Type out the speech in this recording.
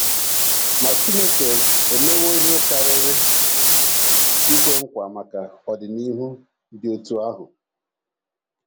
Ma Chineke emewo ihe karịrị ikwe nkwa maka ọdịnihu dị otú ahụ.